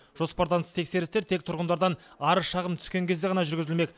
жоспардан тыс тексерістер тек тұрғындардан арыз шағым түскен кезде ғана жүргізілмек